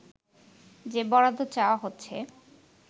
যে বরাদ্দ চাওয়া হচ্ছে